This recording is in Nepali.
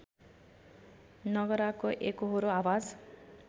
नगराको एकोहोरो आवाज